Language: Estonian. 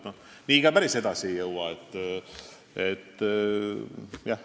Päris nii me ka edasi ei jõua.